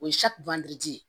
O ye ye